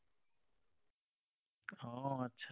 অ, আচ্ছা।